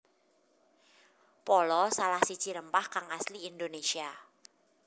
Pala salah siji rempah kang asli Indonésia